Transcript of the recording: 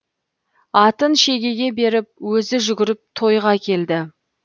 атын шегеге беріп өзі жүгіріп тойға келді